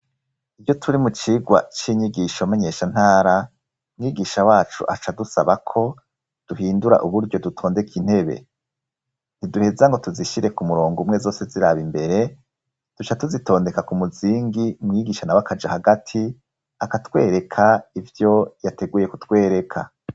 Ivyo turi mu cigwa c'inyigisho manyeshantara mwigisha wacu aca dusabako duhindura uburyo dutondeka intebe ntiduheza ngo tuzishire ku murongo umwe zose ziraba imbere duca tuzitondeka ku muzingi mwigishana w'akaje hagati akatwereka ivyo yateguye kutwereka.